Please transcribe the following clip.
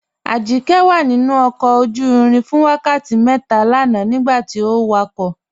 Ajíkẹ̀ wà nínu ọkọ̀ ojú-ìrìn fún wákàtí mẹ́tà lànà nígbàtí ọ wákọ̀